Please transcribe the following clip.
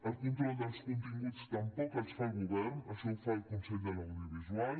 el control dels continguts tampoc el fa el govern això ho fa el consell de l’audiovisual